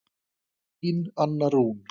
Þín Anna Rún.